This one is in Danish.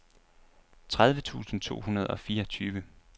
tredive tusind to hundrede og fireogtyve